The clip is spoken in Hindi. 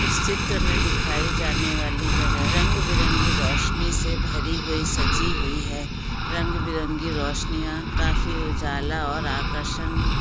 इस चित्र मैं दिखाई जाने वाली जगह रंग बिरंगी रोशनी से भरी हुई सजी हुई है रंग बिरंगी रोशनीयां काफी उजाला और आकर्षण--